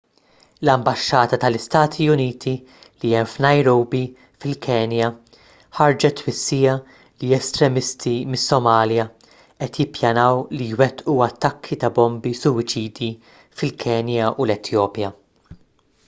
l-ambaxxata tal-istati uniti li hemm f'nairobi fil-kenya ħarġet twissija li estremisti mis-somalja qed jippjanaw li jwettqu attakki ta' bombi suwiċidi fil-kenja u l-etjopja